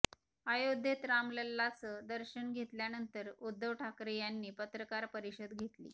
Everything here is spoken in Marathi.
अयोध्येत रामलल्लांचं दर्शन घेतल्यानंतर उद्धव ठाकरे यांनी पत्रकार परिषद घेतली